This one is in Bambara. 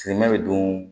Simɛ bɛ don